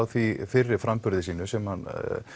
því fyrri framburði sínum sem hann